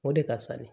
O de ka fisa ni